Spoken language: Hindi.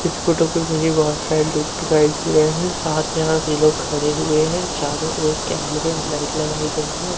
इस फोटो पे मुझे बहोत सारे लोग दिखाई दे हैं साथ में भी यहां लोग खड़े हुए हैं चारों ओर कैमरे और लाइट लगाई गई है।